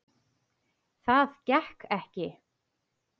Það gekk ekki